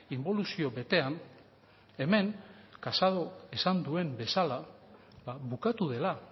inboluzio betean hemen casadok esan duen bezala bukatu dela